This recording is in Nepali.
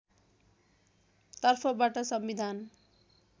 तर्फबाट संविधान